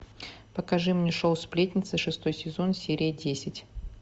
покажи мне шоу сплетница шестой сезон серия десять